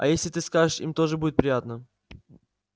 а если ты скажешь им тоже будет приятно